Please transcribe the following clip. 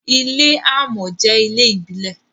ilé amò jé ilé ìbílè.